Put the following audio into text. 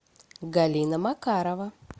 галина макарова